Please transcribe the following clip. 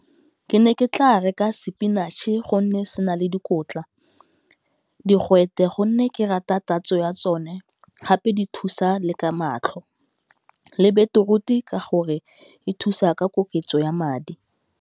Ke ne ke tla reka spinach-e gonne se na le dikotla, digwete gonne ke rata tatso ya tsone gape di thusa le ka matlho, le beetroot-e ka gore e thusa ka koketso ya madi.